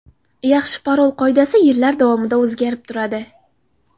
Yaxshi parol qoidasi yillar davomida o‘zgarib turadi.